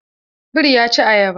Biri ya ci ayaba.